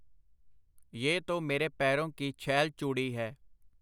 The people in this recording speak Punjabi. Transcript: ਯਹ ਤੋ ਮੇਰੇ ਪੈਰੋਂ ਕੀ ਛੈਲ ਚੂੜੀ ਹੈ.